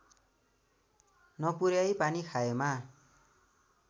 नपुर्‍याई पानी खाएमा